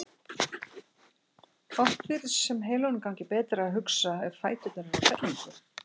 Oft virðist sem heilanum gangi betur að hugsa ef fæturnir eru á hreyfingu.